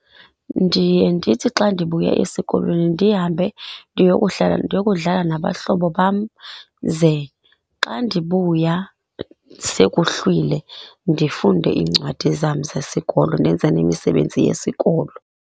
Ndiye ndithi xa ndibuya esikolweni ndihambe ndiyokudlala ndiyokudlala nabahlobo bam ze xa ndibuya sekuhlwile ndifunde iincwadi zam zesikolo, ndenze nemisebenzi yesikolo.